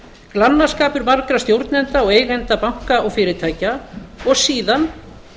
glannaskapur margra stjórnenda og eigenda banka og fyrirtækja og síðan